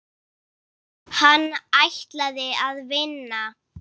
Hann ætlaði að vinna.